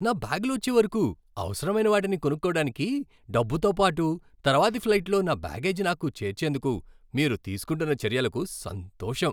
నా బ్యాగ్లు వచ్చే వరకు అవసరమైన వాటిని కొనుక్కోడానికి డబ్బుతో పాటు తర్వాతి ఫ్లైట్లో నా బ్యాగేజీ నాకు చేర్చేందుకు మీరు తీసుకుంటున్న చర్యలకు సంతోషం.